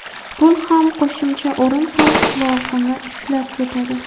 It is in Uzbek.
Pul ham, qo‘shimcha o‘rin ham qulog‘ini ushlab ketadi.